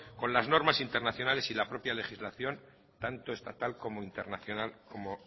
con las normas internacionales y la propia legislación tanto estatal como internacional como